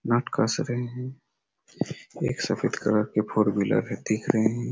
नट कस रहें है वे एक सफ़ेद कलर की फोर व्हीलर है देख रहें है।